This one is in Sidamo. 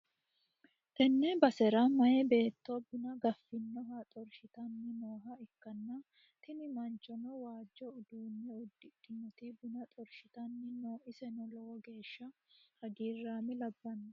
tenne basera meyaa beetto buna gaffinoha xorshitanni nooha ikkanna, tini manchono waajjo uddano uddidhinoti buna xorshitanni no iseno lowo geeshsha hagiiraame labbanno.